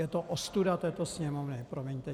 Je to ostuda této Sněmovny, promiňte.